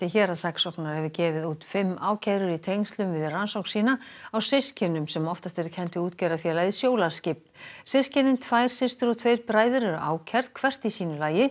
héraðssaksóknara hefur gefið út fimm ákærur í tengslum við rannsókn sína á systkinum sem oftast eru kennd við útgerðarfélagið Sjólaskip systkinin tvær systur og tveir bræður eru ákærð hvert í sínu lagi